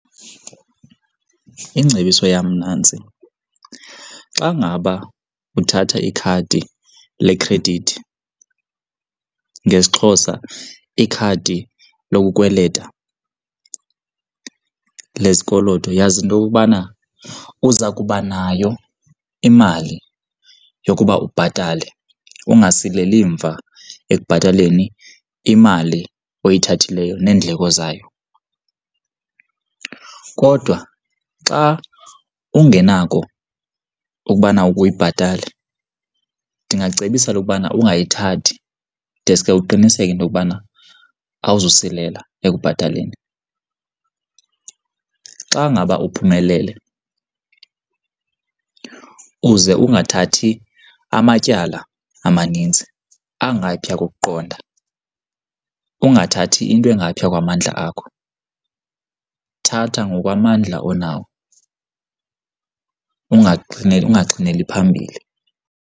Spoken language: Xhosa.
Ingcebiso yam nantsi, xa ngaba uthatha ikhadi lekhredithi, ngesiXhosa ikhadi lokukukweleta, lezikoloto, yazi into yokokubana uza kuba nayo imali yokuba ubhatale ungasileli mva ekubhataleni imali oyithathileyo neendleko zayo. Kodwa xa ungenako ukubana uyibhatale ndingacebisa lokubana ungayithathi, deske uqiniseke into yokubana awuzusilela ekubhataleni. Xa ngaba uphumelele, uze ungathathi amatyala amanintsi angaphaya kokuqonda, ungathathi into engaphaya kwamandla akho. Thatha ngokwamandla onawo ungaxhineli ungaxhineli phambili.